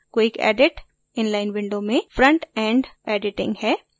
quick edit inline window में front end editing है